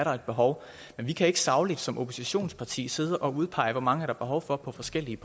er et behov men vi kan ikke sagligt som oppositionsparti sidde og udpege hvor mange der er behov for på forskellige